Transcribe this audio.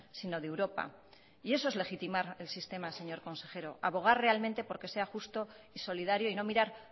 sino de europa y eso es legitimar el sistema señor consejero abogar realmente porque sea justo y solidario y no mirar